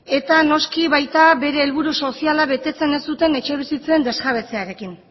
eta noski baita bere helburu soziala betetzen ez duten etxebizitzen desjabetzearekin